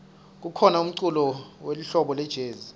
kukhona umculo welihlobo lejezi